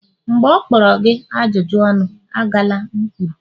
mgbe ọ kpọrọ gị ajụjụ ọnụ, agala m kwuru!